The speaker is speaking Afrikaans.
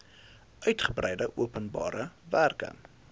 uitgebreide openbare werke